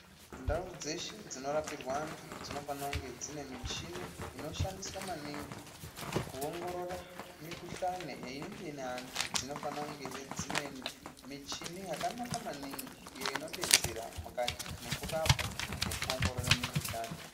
Ndau dzeshe dzinorapirwa antu dzinofanira kunge dzine michini inoshandiswa maningi kuongorora mihkuhlani inenge ine antu dzinofanira he kunge dzinemichini yakanaka maningi iyo inodetsera mukati mwekurapa nekuongorora mikhuhlani.